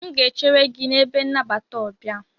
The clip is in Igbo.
M ga-echere gị na ebe nnabata ọbia.